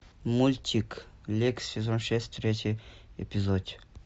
мультик лексс сезон шесть третий эпизод